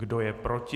Kdo je proti?